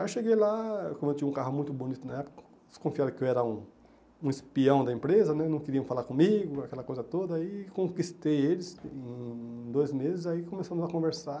Aí eu cheguei lá, como eu tinha um carro muito bonito na época, desconfiado que eu era um um espião da empresa né, não queriam falar comigo, aquela coisa toda, e conquistei eles em dois meses, aí começamos a conversar.